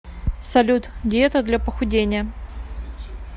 салют диета для похудения